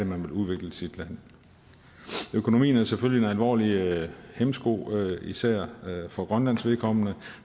man vil udvikle sit land økonomien er selvfølgelig en alvorlig hæmsko især for grønlands vedkommende